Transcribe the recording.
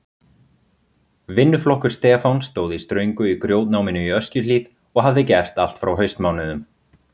Vinnuflokkur Stefáns stóð í ströngu í grjótnáminu í Öskjuhlíð og hafði gert allt frá haustmánuðum.